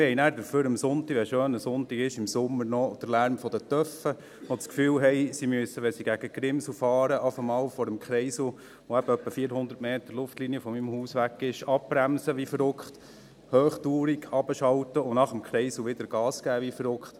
Aber wir haben dafür dann an einem schönen Sonntag im Sommer noch den Lärm der Töffs, die das Gefühl haben, wenn sie gegen die Grimsel fahren, müssten sie vor dem Kreisel, der eben ungefähr 400 Meter Luftlinie von meinem Haus weg ist, erst einmal abbremsen wie verrückt, hochtourig runterschalten, und nach dem Kreisel wieder Gas geben wie verrückt.